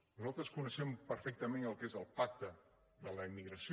nosaltres coneixem perfectament el que és el pacte de la immigració